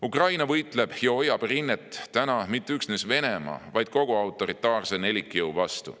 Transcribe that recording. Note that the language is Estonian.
Ukraina võitleb ja hoiab rinnet mitte üksnes Venemaa, vaid kogu autoritaarse nelikjõu vastu.